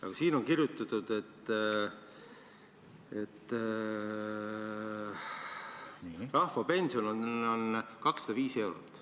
Aga siin on kirjutatud, et rahvapension on 205 eurot.